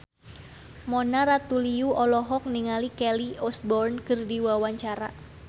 Mona Ratuliu olohok ningali Kelly Osbourne keur diwawancara